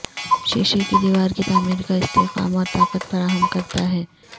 شیشے کی دیوار کی تعمیر کا استحکام اور طاقت فراہم کرتا ہے